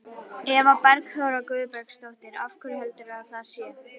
Eva Bergþóra Guðbergsdóttir: Af hverju heldurðu að það sé?